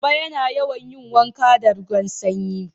Baba yana yawan yin wanka da ruwan Sanyi